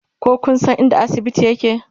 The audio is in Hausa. ko Kun San inda asibiti yake?